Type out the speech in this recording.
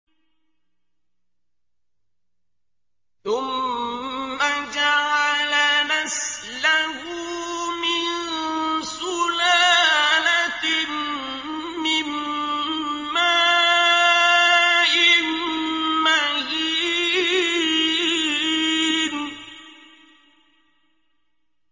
ثُمَّ جَعَلَ نَسْلَهُ مِن سُلَالَةٍ مِّن مَّاءٍ مَّهِينٍ